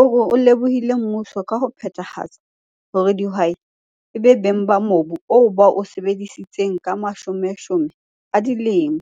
o lebohile mmuso ka ho phethahatsa hore dihwai e be beng ba mobu oo ba o sebeditseng ka mashomeshome a dilemo.